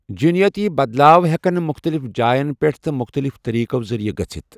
جینیٲتی بدلاو ہیکن مُختلِف جاین پٮ۪ٹھ تہٕ مُختلِف طٔریٖقو ذریعہٕ گژھتھ۔